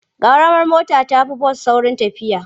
Ƙaramar mota ta fi bas saurin tafiya.